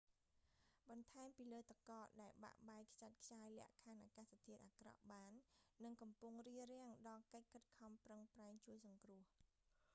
បន្ថែមពីលើទឹកកកដែលបាក់បែកខ្ចាត់ខ្ចាយលក្ខខណ្ឌអាកាសធាតុអាក្រក់បាន និងកំពុងរារាំងដល់កិច្ចខិតខំប្រឹងប្រែងជួយសង្គ្រោះ